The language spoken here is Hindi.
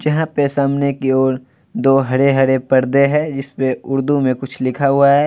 जहाँ पे सामने की ओर दो हरे-हरे पर्दे हैं जिसपे उर्दू में कुछ लिखा हुआ है |